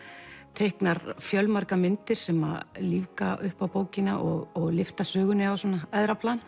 teiknar fjölmargar myndir sem lífga upp á bókina og lyfta sögunni á æðra plan